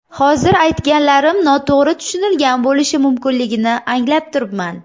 Hozir aytganlarim noto‘g‘ri tushunilgan bo‘lishi mumkinligini anglab turibman.